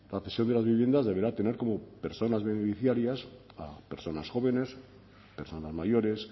la cesión de las viviendas deberá tener como personas beneficiarias a personas jóvenes personas mayores